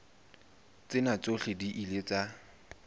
tsena tsohle di ile tsa